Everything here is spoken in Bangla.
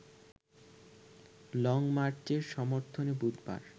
লংমার্চের সমর্থনে বুধবার